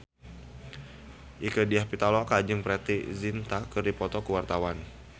Rieke Diah Pitaloka jeung Preity Zinta keur dipoto ku wartawan